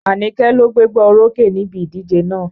Àníké ló gbégbá orókè níbi ìdíje náà.